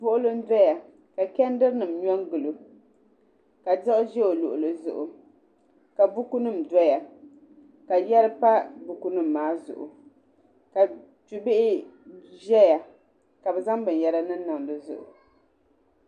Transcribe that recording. Buɣuli n doya ka kɛndiri nima nyo n-gili o ka diɣi zi o luɣuli zuɣu ka buku nim doya ka yiɛri pa buku nima maa zuɣu ka chu bihi ka bi zaŋ bini yara niŋ niŋ di zuɣu.